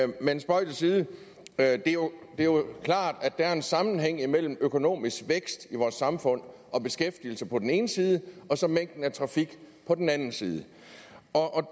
men spøg til side det er jo klart at der er en sammenhæng imellem økonomisk vækst i vores samfund og beskæftigelse på den ene side og så mængden af trafik på den anden side og